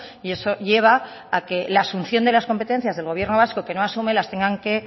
y eso lleva a que la función de las competencias del gobierno vasco que no asume las tenga que